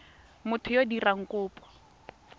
motho yo o dirang kopo